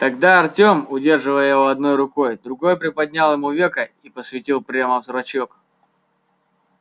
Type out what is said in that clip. тогда артем удерживая его одной рукой другой приподнял ему веко и посветил прямо в зрачок